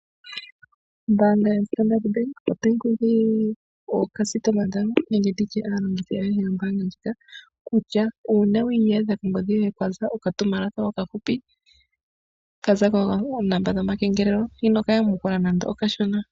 Ombaanga yoStandabank otayi kunkilile aalongithi yawo ayehe, ano yombaanga ndjika kutya uuna wi iyadha kongodhi yoye kwe ya okatumwalaka okafupi ka za koonomola dhomakengelelo ino ka yamukula nando okashona.